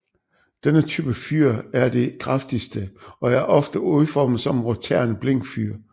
Denne type fyr er de kraftigste og er ofte udformet som roterende blinkfyr